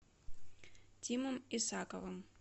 тимом исаковым